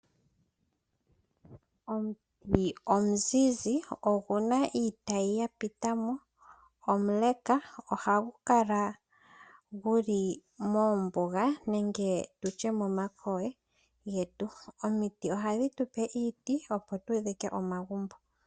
Omuti omuzizi okuna iitayi yapitamo, omule nohagu kala guli mombuga nenge momankolo getu. Omiti ohadhi tupe iiti opo tudhike omagumbo.